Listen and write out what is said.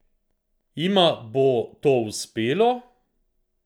Jima bo ti uspelo?